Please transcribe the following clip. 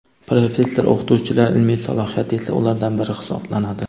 Professor-o‘qituvchilar ilmiy salohiyati esa ulardan biri hisoblanadi.